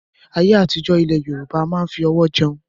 ayé àtijọ́ ní ilẹ̀ Yorùbá a máa ń fi ọwọ́ jẹun